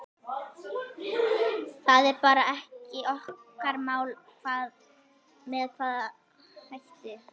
Það er bara ekki okkar mál með hvaða hætti